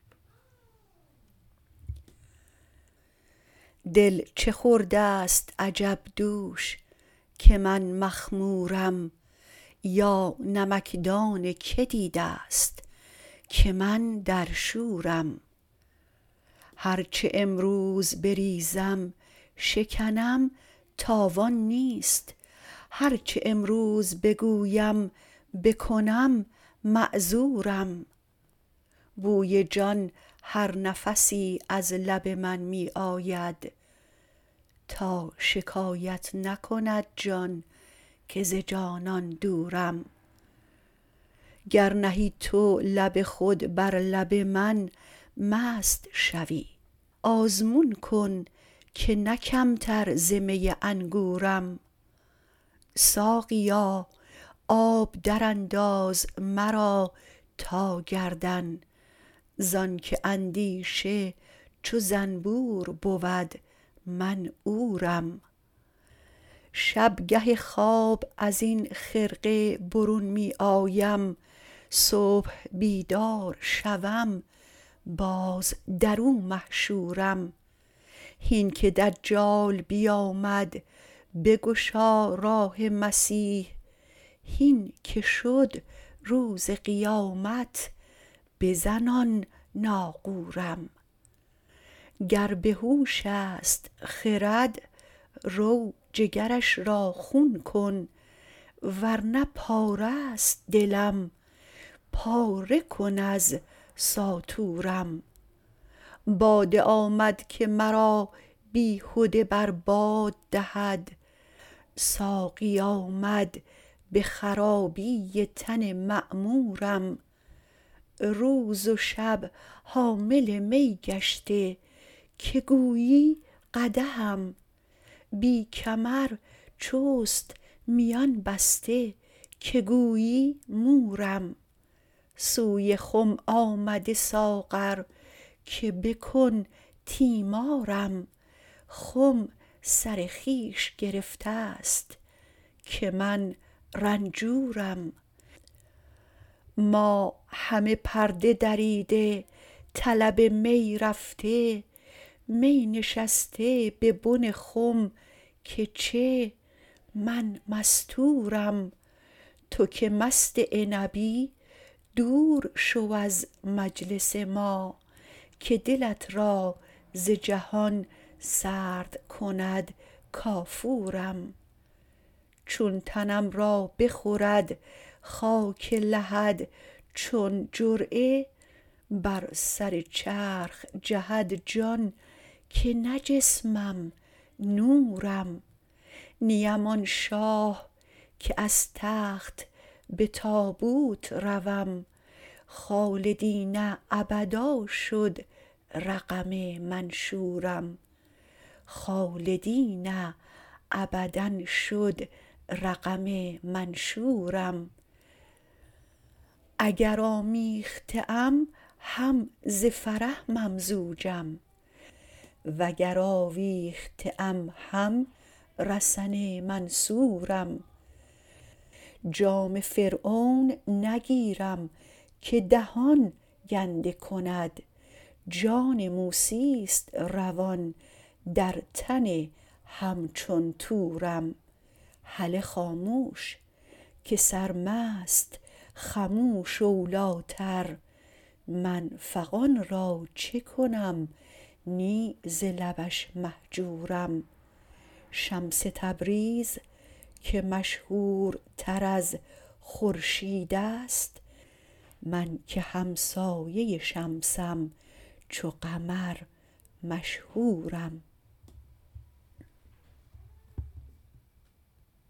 دل چه خورده ست عجب دوش که من مخمورم یا نمکدان کی دیده ست که من در شورم هر چه امروز بریزم شکنم تاوان نیست هر چه امروز بگویم بکنم معذورم بوی جان هر نفسی از لب من می آید تا شکایت نکند جان که ز جانان دورم گر نهی تو لب خود بر لب من مست شوی آزمون کن که نه کمتر ز می انگورم ساقیا آب درانداز مرا تا گردن زانک اندیشه چو زنبور بود من عورم شب گه خواب از این خرقه برون می آیم صبح بیدار شوم باز در او محشورم هین که دجال بیامد بگشا راه مسیح هین که شد روز قیامت بزن آن ناقورم گر به هوش است خرد رو جگرش را خون کن ور نه پاره ست دلم پاره کن از ساطورم باده آمد که مرا بیهده بر باد دهد ساقی آمد به خرابی تن معمورم روز و شب حامل می گشته که گویی قدحم بی کمر چست میان بسته که گویی مورم سوی خم آمده ساغر که بکن تیمارم خم سر خویش گرفته ست که من رنجورم ما همه پرده دریده طلب می رفته می نشسته به بن خم که چه من مستورم تو که مست عنبی دور شو از مجلس ما که دلت را ز جهان سرد کند کافورم چون تنم را بخورد خاک لحد چون جرعه بر سر چرخ جهد جان که نه جسمم نورم نیم آن شاه که از تخت به تابوت روم خالدین ابدا شد رقم منشورم اگر آمیخته ام هم ز فرح ممزوجم وگر آویخته ام هم رسن منصورم جام فرعون نگیرم که دهان گنده کند جان موسی است روان در تن همچون طورم هله خاموش که سرمست خموش اولیتر من فغان را چه کنم نی ز لبش مهجورم شمس تبریز که مشهورتر از خورشید است من که همسایه شمسم چو قمر مشهورم